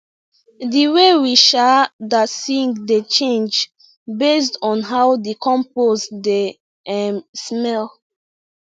the way we um da sing dey change based on how the compost dey um smell